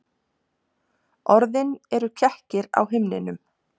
Orðin eru kekkir á himninum.